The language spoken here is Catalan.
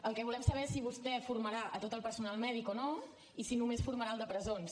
el que volem saber és si vostè formarà tot el personal mèdic o no i si només formarà el de presons